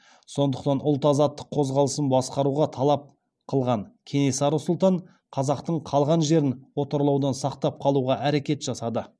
сондықтан ұлт азаттық қозғалысын басқаруға талап қылған кенесары сұлтан қазақтың қалған жерін отарлаудан сақтап қалуға әрекет жасады